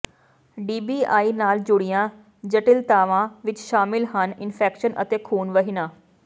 DBI ਨਾਲ ਜੁੜੀਆਂ ਜਟਿਲਤਾਵਾਂ ਵਿਚ ਸ਼ਾਮਲ ਹਨ ਇਨਫੈਕਸ਼ਨ ਅਤੇ ਖੂਨ ਵਹਿਣਾ